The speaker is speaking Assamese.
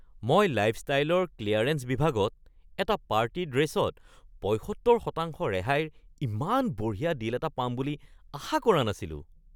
মই লাইফষ্টাইলৰ ক্লিয়াৰেন্স বিভাগত এটা পাৰ্টি ড্ৰেচত ৭৫ শতাংশ ৰেহাইৰ ইমান বঢ়িয়া ডীল এটা পাম বুলি আশা কৰা নাছিলোঁ।